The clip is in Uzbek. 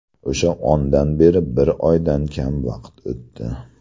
O‘sha ondan beri bir oydan kam vaqt o‘tdi.